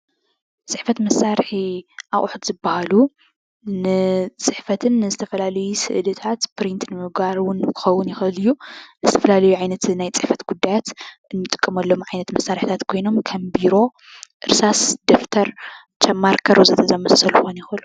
ፅሕፈት መሳርሒ ኣቁሑት ዝብሃሉ ንፅሕፈትን ንዝተፈላለዩ ስእልታት ፕሪንት ንምግባር ውን ክኽውን ይክእል እዩ ዝተፈላለዩ ናይ ፅሕፈት ጉዳያት እንጥቀመሎም ዓይነት መሳርሕታት ኮይኖም ከም ቢሮ፣ እርሳስ፣ ደፍተር፣ ከም ማርከር ወዘተ ዛኣምሳሰሉ ክኮኑ ይክእሉ፡፡